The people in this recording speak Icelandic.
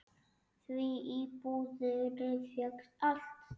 Því í búðinni fékkst allt.